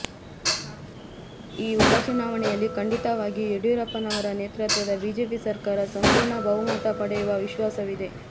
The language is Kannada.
ಈ ಉಪಚುನಾವಣೆಯಲ್ಲಿ ಖಂಡಿತವಾಗಿಯೂ ಯಡಿಯೂರಪ್ಪನವರ ನೇತೃತ್ವದ ಬಿಜೆಪಿ ಸರ್ಕಾರ ಸಂಪೂರ್ಣ ಬಹುಮತ ಪಡೆಯುವ ವಿಶ್ವಾಸವಿದೆ